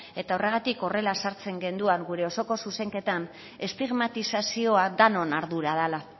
eta horregatik horrela sartzen genduan gure osoko zuzenketan estigmatizazioa danon ardura dala